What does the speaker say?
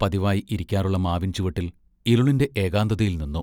പതിവായി ഇരിക്കാറുള്ള മാവിൻ ചുവട്ടിൽ ഇരുളിന്റെ ഏകാന്തതയിൽ നിന്നു.